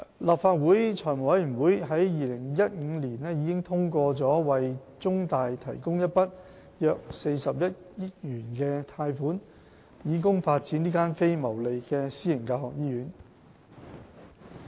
立法會財務委員會在2015年已通過為中大提供一筆約40億元的貸款，以供發展這間非牟利私營教學醫院。